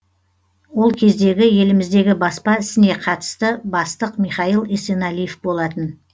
ол кездегі еліміздегі баспа ісіне қатысты бастық михаил есеналиев болатын